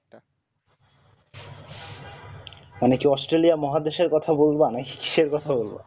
মানে কি অস্ট্রলিয়া মহাদেশের কথা বললাম